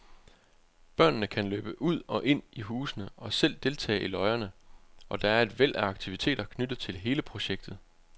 Børnene kan løbe ud og ind i husene og selv deltage i løjerne, og der er et væld af aktiviteter knyttet til hele projektet.